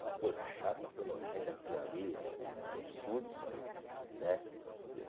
Uma coisa chata, uma coisa nojenta aquilo ali, é um absurdo isso aí, né?